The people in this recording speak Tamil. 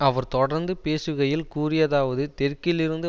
அவர் தொடர்ந்து பேசுகையில் கூறியதாவது தெற்கில் இருந்து